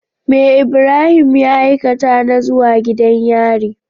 Me Ibrahim ya aikata na zuwa gidan yari?